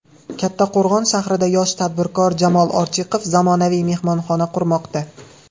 Kattaqo‘rg‘on shahrida yosh tadbirkor Jamol Ortiqov zamonaviy mehmonxona qurmoqda.